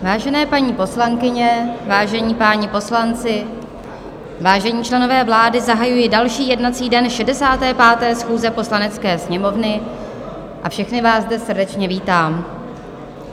Vážené paní poslankyně, vážení páni poslanci, vážení členové vlády, zahajuji další jednací den 65. schůze Poslanecké sněmovny a všechny vás zde srdečně vítám.